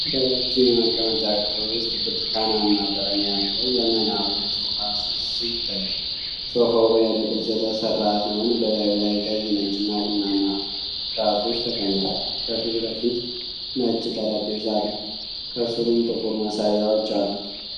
በረጅም የመቀመጫ ክፍል ውስጥ ብርቱካናማ ቀለም ያለው ዘመናዊ የሶፋ ስብስብ ይታያል። ሶፋው በ"L" ቅርጽ የተሰራ ሲሆን፣ በላዩ ላይ ቀይ፣ ነጭና ቡናማ ትራሶች ተቀምጠዋል። ከፊት ለፊት ነጭ ጠረጴዛ አለ፣ ከሥሩም ጥቁር መሳቢያዎች አሉት